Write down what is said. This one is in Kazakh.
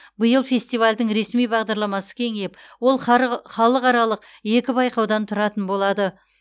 биыл фестивальдің ресми бағдарламасы кеңейіп ол халықаралық екі байқаудан тұратын болады